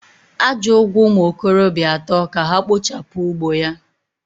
Aja ugwo umu okorobia ato ka ha kpochapu ugbo ya.